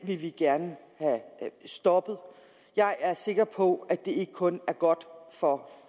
vil vi gerne have stoppet jeg er sikker på at det ikke kun er godt for